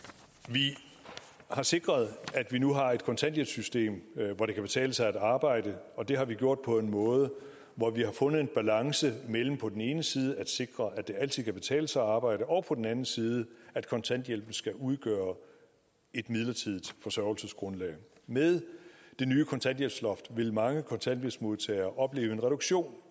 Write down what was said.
vi har sikret at vi nu har et kontanthjælpssystem hvor det kan betale sig at arbejde og det har vi gjort på en måde hvor vi har fundet en balance mellem på den ene side at sikre at det altid kan betale sig at arbejde og på den anden side at kontanthjælpen skal udgøre et midlertidigt forsørgelsesgrundlag med det nye kontanthjælpsloft vil mange kontanthjælpsmodtagere opleve en reduktion